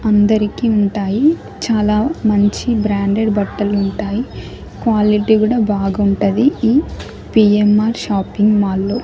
అందరికీ ఉంటాయి చాలా మంచి బ్రాండెడ్ బట్టలు ఉంటాయి క్వాలిటీ కూడా బాగుంటది ఇన్ ఈ పిఎంఆర్ షాపింగ్ మాల్లో .